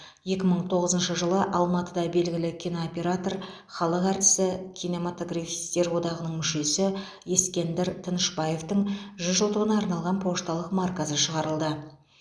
екі мың тоғызыншы жылы алматыда белгілі кинооператор халық әртісі кинематографистер одағының мүшесі ескендір тынышбаевтың жүз жылдығына арналған пошталық маркасы шығарылды